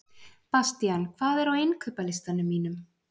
Bastían, hvað er á innkaupalistanum mínum?